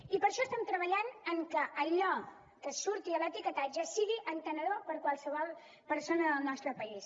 i per això estem treballant perquè allò que surti a l’etiquetatge sigui entenedor per a qualsevol persona del nostre país